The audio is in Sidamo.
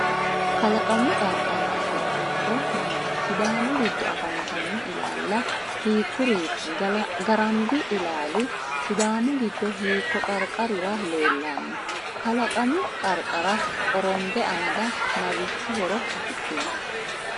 Kalaqamu qarqara afidhino horo maati? Sidaamu giddo afantanno ilaalla hiikkuriiti? Garambi ilaali Sidaamu giddo hiikko qarqarira leellanno? Kalaqamu qarqara qorombe amada marichi horo afidhino?